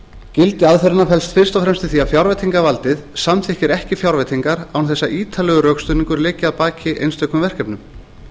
gildi aðferðarfræðinnar felst fyrst og fremst í því að fjárveitingavaldið samþykkir ekki fjárveitingar án þess að ítarlegur rökstuðningur liggi að baki einstökum verkefnum